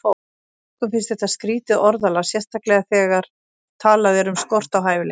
Mörgum finnst þetta skrýtið orðalag, sérstaklega þegar talað er um skort á hæfileikum.